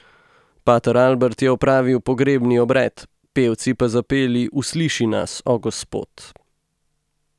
Pater Albert je opravil pogrebni obred, pevci pa zapeli Usliši nas, o Gospod.